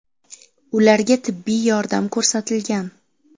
Ularga tibbiy yordam ko‘rsatilgan.